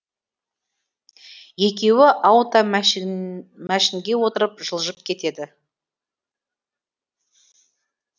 екеуі ауто мәшінге отырып жылжып кетеді